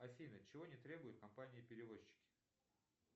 афина чего не требует компания перевозчик